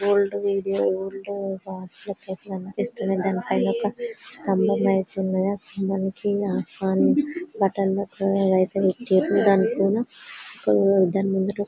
Old video old కనిపిస్తున్నది. దాని పైన ఒక స్తంభం అయితే ఉన్నదీ. ఆ స్తంభానికి దాంట్లోనా దాని ముంగిట--